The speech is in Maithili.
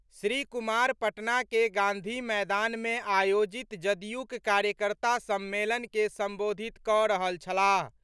श्री कुमार पटना के गांधी मैदान में आयोजित जदयूक कार्यकर्ता सम्मेलन के संबोधित कऽ रहल छलाह।